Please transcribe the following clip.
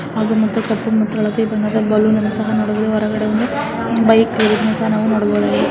ಹಳದಿ ಮತ್ತೆ ಕಪ್ಪು ಮುಚ್ಚಳತೆ ಬಣ್ಣದ ಬಲೂನನ್ನು ಸಹ ನೋಡಬಹುದು ಹೊರಗಡೆ ಬೈಕ ಇರುವುದನ್ನಇರುವುದನ್ನುನೋಡಬಹುದು .